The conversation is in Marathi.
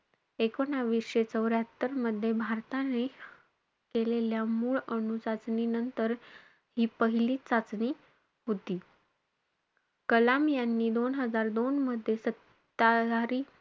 एकूणवीसशे चौऱ्ह्यात्तर मध्ये भारताने केलेल्या मूळ अणुचाचणीनंतर, हि पहिलीचं चाचणी होती. कलाम यांनी दोन हजार दोन मध्ये सत्ताधारी,